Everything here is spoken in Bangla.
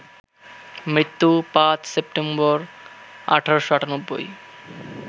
মৃত্যু ৫ সেপ্টেম্বর, ১৮৯৮